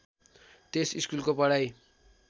त्यस स्कुलको पढाइ